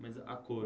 Mas a cor.